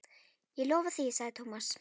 Ég lofa því sagði Thomas.